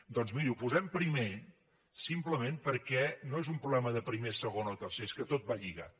doncs miri ho posem primer simplement perquè no és un problema de primer segon o tercer és que tot va lligat